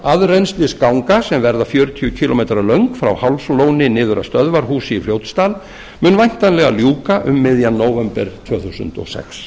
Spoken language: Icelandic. aðrennslisganga sem verða fjörutíu kílómetra löng frá hálslóni niður að stöðvarhúsi í fljótsdal mun væntanlega ljúka um miðjan nóvember tvö þúsund og sex